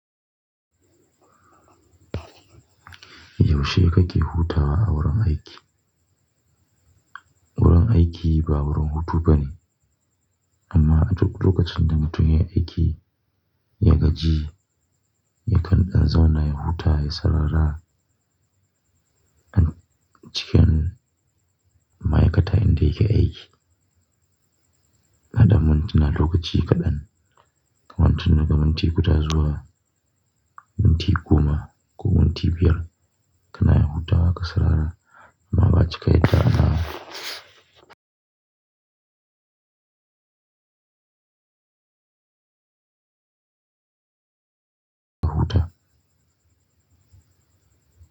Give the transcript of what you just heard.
Yaushe kake hutawa a wurin aiki? Wurin aiki ba wurin hutu bane amma a duk lokacin da mutum yayi aiki, ya gaji, yakan dan zauna ya huta, ya sarara, a nan cikin ma'ai kata in da yake aiki. Na dan mintuna lokaci kadan, kamar tun daga minti guda zuwa, minti goma ko minti biyar, kana iya hutawa ka sarara amma ba'a cika yadda ba huta.